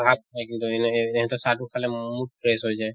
হিহঁতৰ চাহ টো খালে mood fresh হৈ যায়।